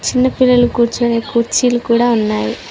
చిన్న పిల్లలు కూర్చునే కుర్చీలు కూడా ఉన్నాయి.